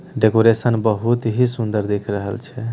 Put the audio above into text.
Decoration बहुत ही सुन्दर दिख रहल छे।